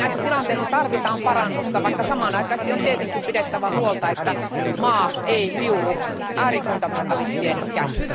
Näissä tilanteissa tarvitaan parannusta, vaikka samanaikaisesti on tietenkin pidettävä huolta, että maa ei liu'u äärifundamentalistien käsiin.